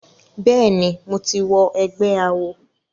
Bẹ́ẹ̀ ni, mo ti wọ ẹgbé awo.